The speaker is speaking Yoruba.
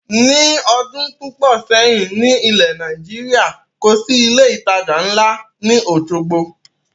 Ni ọdún púpọ̀ sẹ́yìn ni ilẹ̀ Nàìjíríà, kòsi ilé ìtajà ńla ni Osogbo